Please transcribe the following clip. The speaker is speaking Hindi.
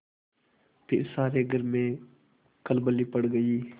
फिर सारे घर में खलबली पड़ गयी